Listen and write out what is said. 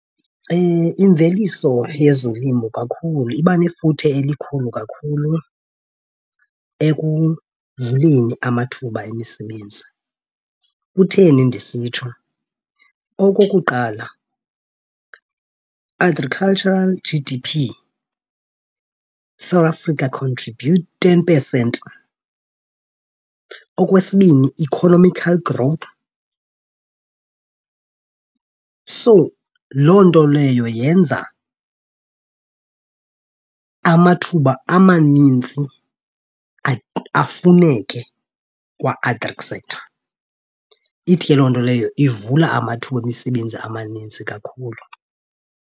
Imveliso yezolimo kakhulu iba nefuthe elikhulu kakhulu ekuvuleni amathuba emisebenzi. Kutheni ndisitsho? Okokuqala, agricultural G_D_P South Africa contributes ten percent. Okwesibini, economical growth. So loo nto leyo yenza amathuba amanintsi afuneke kwa-agric sector. Ithi ke loo nto leyo ivula amathuba emisebenzi amanintsi kakhulu.